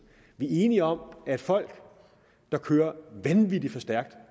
vi er enige om at folk der kører vanvittig for stærkt